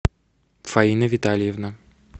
фаина витальевна